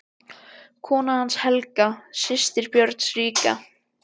Kona hans var Helga, systir Björns ríka.